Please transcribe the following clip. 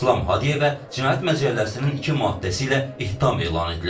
İslam Hadiyevə Cinayət Məcəlləsinin iki maddəsi ilə ittiham elan edilib.